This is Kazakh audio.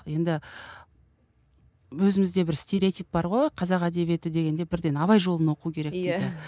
енді өзімізде бір стереотип бар ғой қазақ әдебиеті дегенде бірден абай жолын оқу керек дейді